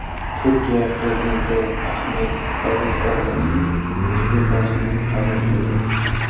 Turkiya prezidenti Ahmed Davuto‘g‘lining iste’fosini qabul qildi.